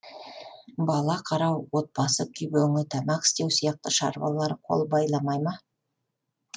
бала қарау отбасы күйбеңі тамақ істеу сияқты шаруалар қол байламай ма